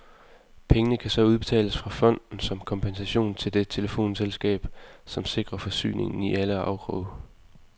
Pengene kan så udbetales fra fonden som kompensation til det telefonselskab som sikrer forsyningen i alle afkroge.